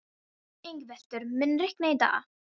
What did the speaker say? Yngveldur, mun rigna í dag?